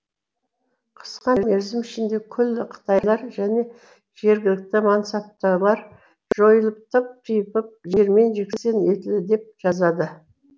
қысқа мерзім ішінде күллі қытайлар және жергілікті мансаптылар жойылып тып типыл жермен жексен етілді деп жазады